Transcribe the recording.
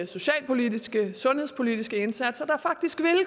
socialpolitiske og sundhedspolitiske indsatser der faktisk vil